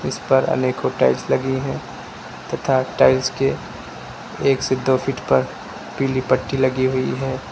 इस पर अनेकों टाइल्स लगी हैं तथा टाइल्स के एक से दो फिट पर पीली पट्टी लगी हुई है।